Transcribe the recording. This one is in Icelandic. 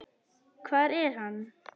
Hvar er hann?